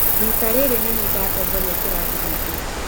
Rita rĩrĩ nĩ niĩ ndatongoria kĩrathi gĩtũ.